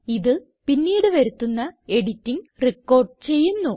ഇത് പിന്നീട് വരുത്തുന്ന എഡിറ്റിംഗ് റിക്കോർഡ് ചെയ്യുന്നു